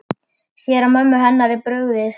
Sér að mömmu hennar er brugðið.